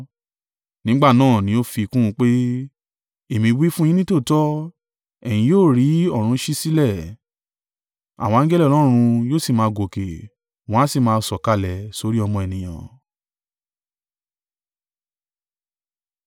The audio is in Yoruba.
Nígbà náà ni ó fi kún un pé, “Èmi wí fún yín nítòótọ́, ẹ̀yin yóò rí ọ̀run ṣí sílẹ̀, àwọn angẹli Ọlọ́run yóò sì máa gòkè, wọ́n ó sì máa sọ̀kalẹ̀ sórí Ọmọ Ènìyàn.”